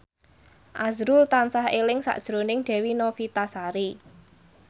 azrul tansah eling sakjroning Dewi Novitasari